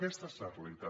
aquesta és la realitat